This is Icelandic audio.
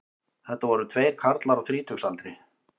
Þetta voru tveir karlar á þrítugsaldri